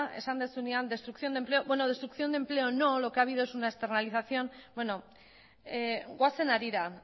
esan duzunean destrucción de empleo bueno destrucción de empleo no lo que ha habido es una externalización goazen harira